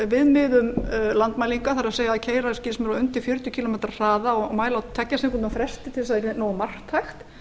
viðmiðun landmælinga það er að keyra undir fjörutíu kílómetra hraða og mæla á tveggja klukkutíma fresti til að það yrði nógu marktækt